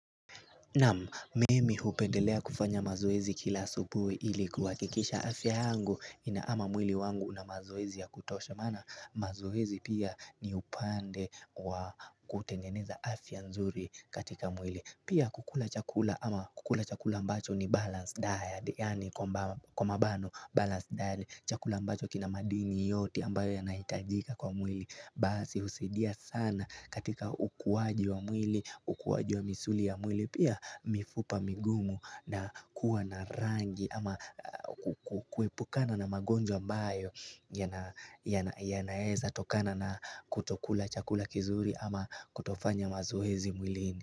Naam, mimi hupendelea kufanya mazoezi kila asubuhi ilikuhakikisha afya yangu ina ama mwili wangu na mazoezi ya kutosha maana mazoezi pia ni upande wa kutengeneza afya nzuri katika mwili. Pia kukula chakula ama kukula chakula ambacho ni balanced diet, yani kwa bano balanced diet chakula mbacho kina madini yote ambayo yanahitajika kwa mwili Basi usaidia sana katika ukuwaji wa mwili, ukuwaji wa misuli ya mwili pia mifupa migumu na kuwa na rangi ama kuepukana na magonjwa ambayo yanaeza tokana na kutokula chakula kizuri ama kutofanya mazoezi mwilini.